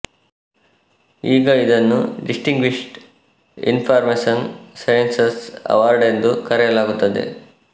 ಈಗ ಇದನ್ನು distinguished information sciences award ಎಂದು ಕರೆಯಲಾಗುತ್ತದೆ